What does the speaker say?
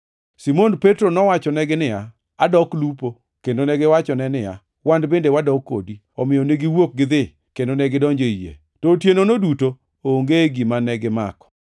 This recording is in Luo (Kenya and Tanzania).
Simon Petro nowachonegi niya, “Adok lupo” kendo negiwachone niya, “Wan bende wadok kodi.” Omiyo negiwuok gidhi kendo negidonjo ei yie. To otienono duto onge gima negimako.